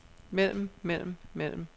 mellem mellem mellem